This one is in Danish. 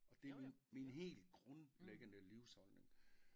Og det min min helt grundlæggende livsholdning